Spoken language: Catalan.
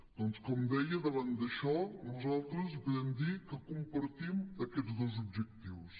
doncs com deia davant d’això nosaltres li podem dir que compartim aquests dos objectius